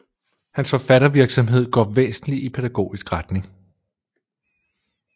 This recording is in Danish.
Hans forfattervirksomhed går væsentlig i pædagogisk retning